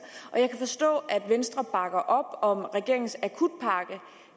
jeg kan forstå at venstre bakker op om regeringens akutpakke